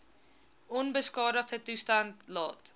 onbeskadigde toestand laat